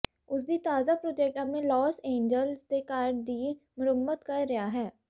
ਉਸਦੀ ਤਾਜ਼ਾ ਪ੍ਰੋਜੈਕਟ ਆਪਣੇ ਲਾਸ ਏਂਜਲਸ ਦੇ ਘਰ ਦੀ ਮੁਰੰਮਤ ਕਰ ਰਿਹਾ ਹੈ